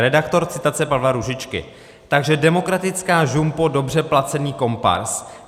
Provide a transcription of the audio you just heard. Redaktor - citace Pavla Růžičky: "Takže demokratická žumpo, dobře placený komparz.